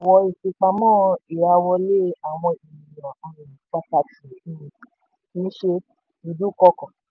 ìfipamọ́ ìràwọlé àwọn ènìyàn um pàtàkì um kì í ṣe ìdúnkọkọ̀.